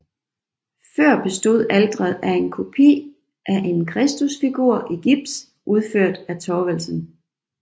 Før bestod alteret af en kopi af en Kristusfigur i gips udført af Thorvalsen